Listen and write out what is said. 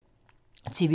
TV 2